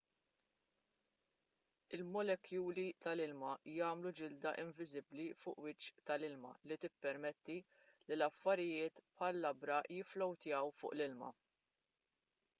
il-molekuli tal-ilma jagħmlu ġilda inviżibbli fuq il-wiċċ tal-ilma li tippermetti li affarijiet bħal labra jifflowtjaw fuq l-ilma